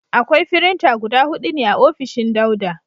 Akwai firinta guda hudu ne a ofishin Dauda.